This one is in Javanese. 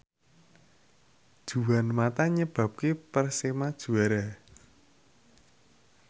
Juan mata nyebabke Persema juara